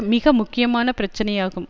மிக முக்கியமான பிரச்சனையாகும்